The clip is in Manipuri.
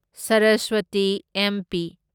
ꯁꯔꯁꯋꯇꯤ ꯑꯦꯝꯄꯤ